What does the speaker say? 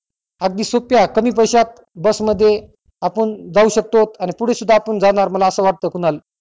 अगदी सोप्यात कमी पैस्यात बस मध्ये आपुन जाऊ शकतो आणि पुढे सुद्धा आपुन जाणार मला असे वाटतेय कुणाल